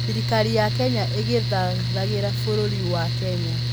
Thirikari ya Kenya ĩgĩthagathagĩra bũrũri wa Kenya